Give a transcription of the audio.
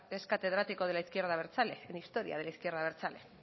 es catedrático de la izquierda abertzale en historia de la izquierda abertzale